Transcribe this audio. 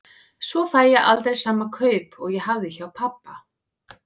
Svo fæ ég aldrei sama kaup og ég hafði hjá pabba.